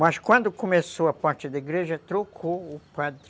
Mas quando começou a parte da igreja, trocou o padre.